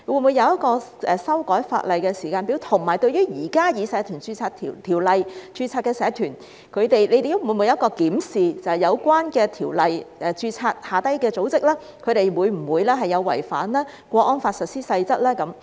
會否訂定一個修改法例的時間表？對於現時根據《社團條例》註冊的社團，當局會否檢視在有關條例下註冊的組織會否違反《香港國安法》下的《實施細則》呢？